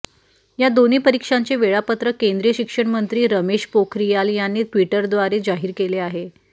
या दोन्ही परीक्षांचे वेळापत्रक केंद्रीय शिक्षण मंत्री रमेश पोखरियाल यांनी ट्विटरद्वारे जाहीर केले आहे